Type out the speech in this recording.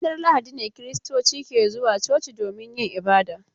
Ranar lahadi ne kiristoci ke zuwa coci domin yin ibada.